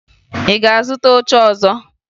Ị ga-azụta oche ọzọ?